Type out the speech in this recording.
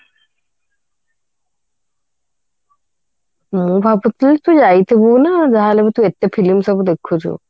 ମୁଁ ଭାବୁଥିଲି ତୁ ଯାଇଥିବୁ ନା ଯାହାହେଲେ ବି ଏତେ film ସବୁ ଦେଖୁଛୁ